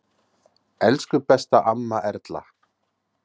Elsku besta amma Erla.